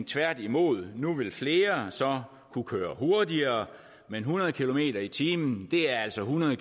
tværtimod nu vil flere så kunne køre hurtigere men hundrede kilometer per time er altså hundrede